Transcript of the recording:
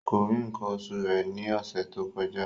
Kò rí nǹkan oṣù rẹ̀ ní ọ̀sẹ̀ tó kọjá